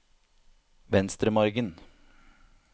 Venstremargen